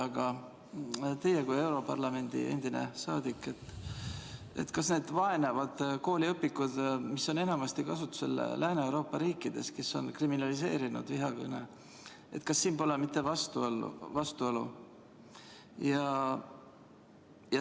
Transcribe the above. Aga teie kui europarlamendi endine saadik, öelge, kas need vaenavad kooliõpikud, mis on enamasti kasutusel Lääne-Euroopa riikides, kus vihakõne on kriminaliseeritud – kas siin pole mitte vastuolu?